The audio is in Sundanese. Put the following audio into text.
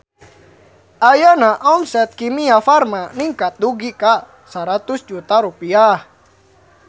Ayeuna omset Kimia Farma ningkat dugi ka 100 juta rupiah